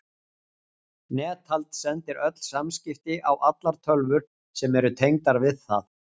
Netald sendir öll samskipti á allar tölvur sem eru tengdar við það.